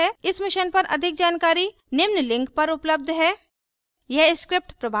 इस mission पर अधिक जानकारी निम्न लिंक पर उपलब्ध है